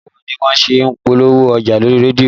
Báwo ni wọ́n ṣe ń polówó ọjà lórí rédíò?